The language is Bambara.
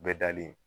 Bɛɛ dalen